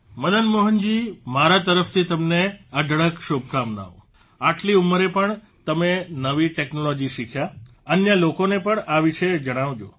મદન મોહનજી મારા તરફથી તમને અઢળક શુભકામનાઓ આટલી ઉંમરે પણ તમે નવી ટેકનોલોજી શીખ્યા અન્ય લોકોને પણ આ વિષે જણાવજો